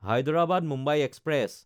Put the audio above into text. Hyderabad-Mumbai express